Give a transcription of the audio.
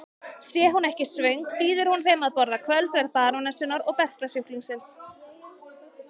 Sé hún ekki svöng býður hún þeim að borða kvöldverð barónessunnar og berklasjúklingsins.